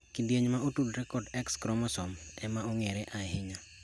Kidieny maotudre kod X kromosoms emaong`ere ahinya.